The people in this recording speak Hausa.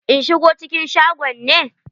In shigo cikin shagon ne?